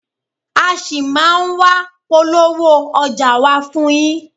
A ṣì máa a wá polówó ọjà wa fún yín.